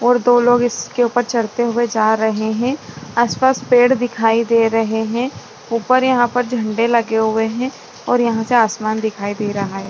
और दो लोग इसके ऊपर चढ़ते हुए जा रहे है आसपास पेड़ दिखाई दे रहे है ऊपर यहाँ पर झंडे लगे हुए है और यहाँ से आसमान दिखाई दे रहा है।